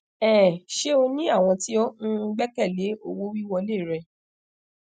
um ṣe o ni awọn ti o um gbẹkẹle owowiwọle rẹ